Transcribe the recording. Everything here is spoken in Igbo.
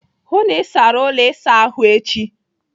Hụụ n'isara ụlọ ịsa ahụ echi!